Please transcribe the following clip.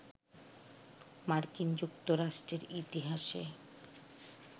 মার্কিন যুক্তরাষ্ট্রের ইতিহাসে